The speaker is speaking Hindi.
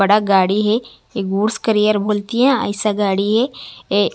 बड़ा गाडी है एक बूट्स करियर बोल के ऐसा गाड़ी है ये--